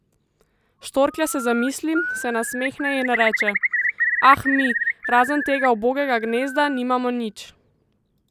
Štorklja se zamisli, se nasmehne in reče: ''Ah, mi, razen tega ubogega gnezda, nimamo nič.